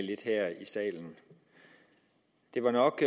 lidt her i salen det var nok